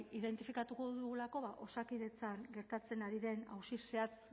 identifikatuko dugulako ba osakidetzan gertatzen ari den auzi zehatz